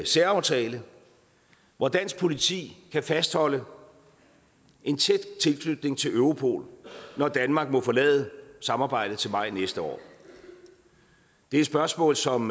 særaftale hvor dansk politi kan fastholde en tæt tilknytning til europol når danmark må forlade samarbejdet til maj næste år det er et spørgsmål som